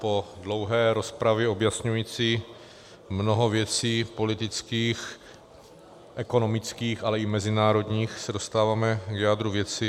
Po dlouhé rozpravě objasňující mnoho věcí politických, ekonomických, ale i mezinárodních, se dostáváme k jádru věci.